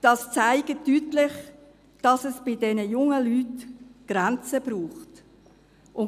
Das zeigt deutlich, dass diese jungen Menschen Grenzen brauchen.